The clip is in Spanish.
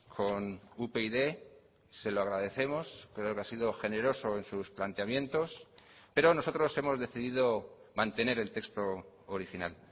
con upyd se lo agradecemos creo que ha sido generoso en sus planteamientos pero nosotros hemos decidido mantener el texto original